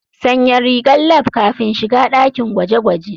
Sanya rigar lab kafin shiga dakin gwaje-gwaje.